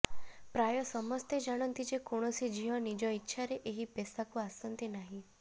ପ୍ରାୟ ସମସ୍ତେ ଜାଣନ୍ତି ଯେ କୌଣସି ଝିଅ ନିଜ ଇଚ୍ଛାରେ ଏହି ପେସାକୁ ଆସନ୍ତି ନାହିଁ